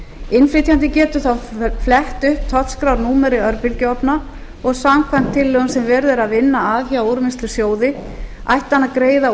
innflytjandi getur þá flett upp tollskrárnúmeri örbylgjuofna og samkvæmt tillögum sem verið er að vinna að hjá úrvinnslusjóði ætti hann að greiða